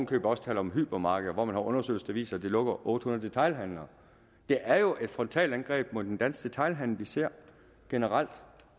købet også taler om hypermarkeder som mange undersøgelser viser vil lukke otte hundrede detailhandlere det er jo et frontalangreb mod den danske detailhandel vi ser generelt